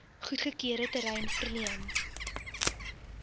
goedgekeurde terrein verleen